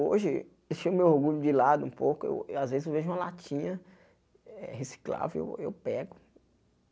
Hoje, deixando meu orgulho de lado um pouco, eu às vezes eu vejo uma latinha eh reciclável eu pego.